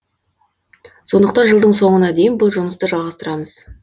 сондықтан жылдың соңына дейін бұл жұмысты жалғастырамыз